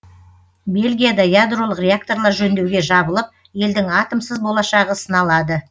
бельгияда ядролық реакторлар жөндеуге жабылып елдің атомсыз болашағы сыналады